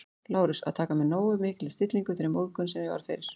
Lárus, að taka með nógu mikilli stillingu þeirri móðgun, sem ég varð fyrir